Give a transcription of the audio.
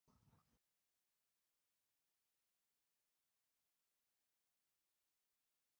Hvaða starfsmenn eru þetta?